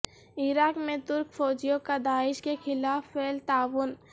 عراق میں ترک فوجیوں کا داعش کے خلاف فعال تعاون